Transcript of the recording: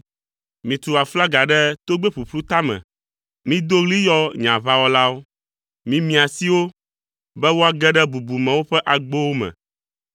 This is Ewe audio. Mitu aflaga ɖe togbɛ ƒuƒlu tame. Mido ɣli yɔ nye aʋawɔlawo. Mimia asi wo, be woage ɖe bubumewo ƒe agbowo me.